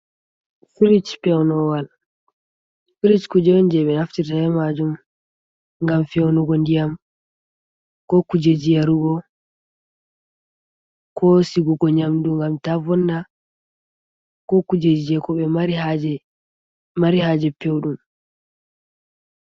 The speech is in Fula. Frich pewnuwal. Frich kuje on je ɓe naftirta be majum ngam feunugo ndiyam, ko kujeji yarugo, ko sigugo nyamdu ngam ta vonna, ko kujeji je koɓe mari haje peudum.